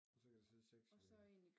Og så kan der sidde 6 ved